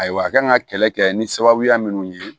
Ayiwa a kan ka kɛlɛ kɛ ni sababuya minnu ye